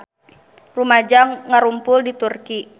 Rumaja ngarumpul di Turki